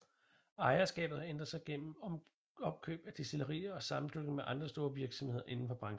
Ejerskabet har ændret sig gennem opkøb af destillerier og sammenslutning med andre store virksomheder inden for branchen